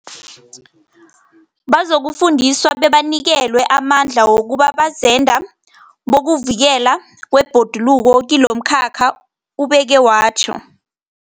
Bazokufundiswa bebanikelwe amandla wokuba bazenda bokuvikelwa kwebhoduluko kilomkhakha, ubeke watjho.